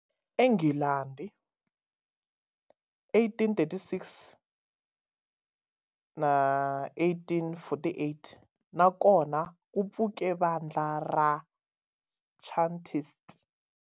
Le Nghilandhi, 1836-1848 na kona ku pfuke vandla ra Chartist.